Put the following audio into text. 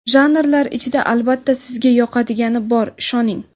Janrlar ichida albatta sizga yoqadigani bor, ishoning!.